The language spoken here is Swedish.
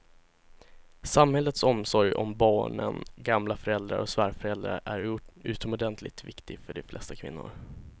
Samhällets omsorg om barnen, gamla föräldrar och svärföräldrar är utomordentligt viktig för de flesta kvinnor.